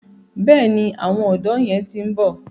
Bẹ́ẹ̀ni, àwọn ọ̀dọ́ yẹn ti ń bọ̀.